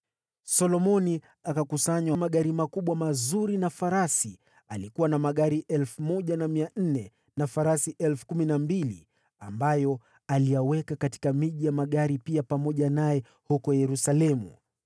Solomoni akakusanya magari ya vita na farasi. Alikuwa na magari 1,400 na farasi 12,000, ambayo aliyaweka katika miji ya magari na mengine akawa nayo huko Yerusalemu.